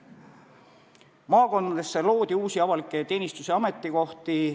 Maakondadesse loodi uusi avalikke teenistus- ja ametikohti.